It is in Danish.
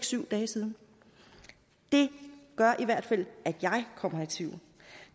syv dage siden det gør i hvert fald at jeg kommer i tvivl